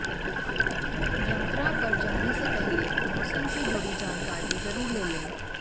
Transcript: यात्रा पर जाने से पहले मौसम से जुडी जानकारी ज़रुर ले लें